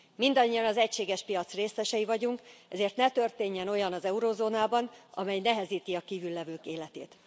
Mindannyian az egységes piac részesei vagyunk, ezért ne történjen olyan az eurózónában, amely nehezíti a kívül levők életét.